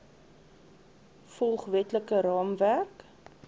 volg wetlike raamwerk